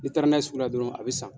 N'i taara n'a ye sugu la dɔrɔn a bɛ san.